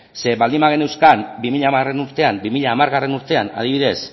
zeren baldin bageneuzkan bi mila hamargarrena urtean adibidez